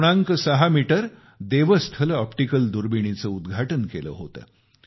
6 metre Devasthal optical दुर्बिणीचे उद्घाटन केले होते